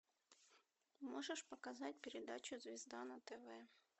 можешь показать передачу звезда на тв